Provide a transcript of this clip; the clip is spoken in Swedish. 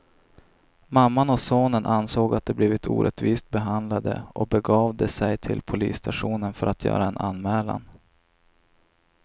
Mamman och sonen ansåg att de blivit orättvist behandlade och begav de sig till polisstationen för att göra en anmälan.